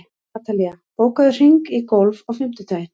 Atalía, bókaðu hring í golf á fimmtudaginn.